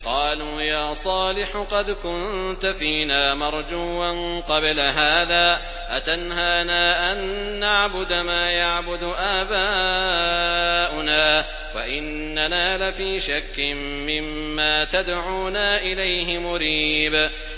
قَالُوا يَا صَالِحُ قَدْ كُنتَ فِينَا مَرْجُوًّا قَبْلَ هَٰذَا ۖ أَتَنْهَانَا أَن نَّعْبُدَ مَا يَعْبُدُ آبَاؤُنَا وَإِنَّنَا لَفِي شَكٍّ مِّمَّا تَدْعُونَا إِلَيْهِ مُرِيبٍ